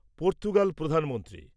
Portugal Pradhan Mantri